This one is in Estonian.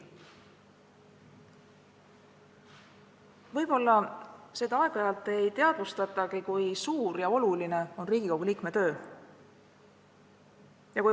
Võib-olla seda aeg-ajalt ei teadvustatagi, kui suur, oluline ja vastutusrikas on Riigikogu liikme töö.